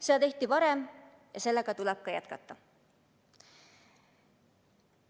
Seda tehti varem ja seda tuleb jätkata.